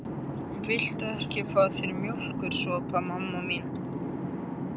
Viltu ekki fá þér mjólkursopa, mamma mín?